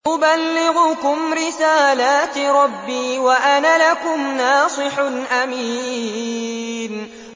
أُبَلِّغُكُمْ رِسَالَاتِ رَبِّي وَأَنَا لَكُمْ نَاصِحٌ أَمِينٌ